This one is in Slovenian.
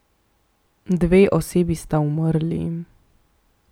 Dve osebi sta umrli.